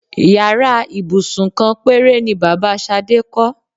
Yàrá ìbùsùn kan péré ni bàbá Sadé kó̩.